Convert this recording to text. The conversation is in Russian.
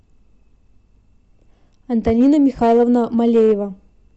антонина михайловна малеева